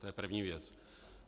To je první věc.